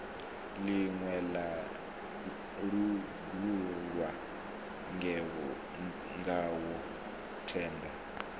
ḽine ḽa langulwa ngawo tenda